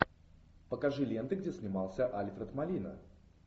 покажи ленты где снимался альфред молина